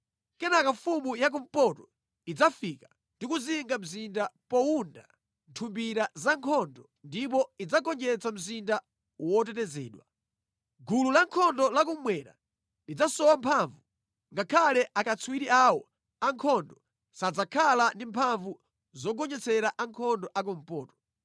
Kenaka mfumu ya kumpoto idzafika ndikuzinga mzinda powunda nthumbira za nkhondo ndipo idzagonjetsa mzinda wotetezedwa. Gulu lankhondo la kummwera lidzasowa mphamvu; ngakhale akatswiri awo ankhondo sadzakhala ndi mphamvu zogonjetsera ankhondo a kumpoto.